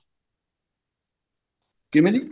ਕਿਵੇਂ ਜੀ